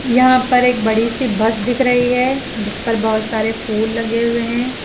यहां पर एक बड़ी सी बस दिख रही है जिस पर बहोत सारे फूल लगे हुए हैं।